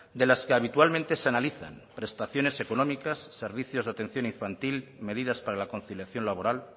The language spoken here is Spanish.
de las que habitualmente se analizan prestaciones económicas servicios de atención infantil medidas para la conciliación laboral